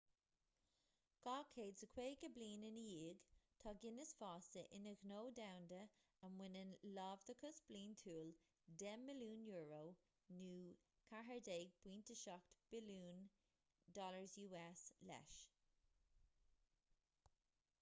250 bliain ina dhiadh tá guinness fásta ina ghnó domhanda a mbaineann láimhdeachas bliantúil 10 mbilliún euro us$14.7 billiún leis